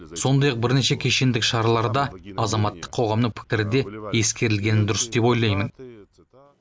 сондай ақ бірнеше кешендік шараларда азаматтық қоғамның пікірі де ескерілгені дұрыс деп ойлаймын